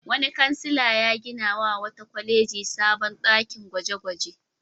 Wani kansila ya ginawa wata kwaleji sabon ɗakin gwaje-gwaje.